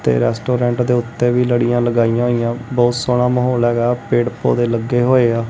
Restaurant ਦੇ ਉੱਤੇ ਵੀ ਲੜੀਆਂ ਲਗਾਈਆਂ ਹੋਈਆਂ ਬਹੁਤ ਸੋਹਣਾ ਮਾਹੌਲ ਹੈਗਾ ਪੇੜ ਪੋਦੇ ਲੱਗੇ ਹੋਏ ਆ।